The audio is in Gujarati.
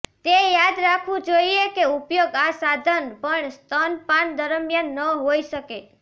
તે યાદ રાખવું જોઈએ કે ઉપયોગ આ સાધન પણ સ્તનપાન દરમિયાન ન હોઈ શકે